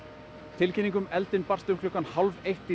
tilkynning um eldinn barst um klukkan hálf eitt